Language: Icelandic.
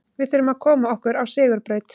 Við þurfum að koma okkur á sigurbraut.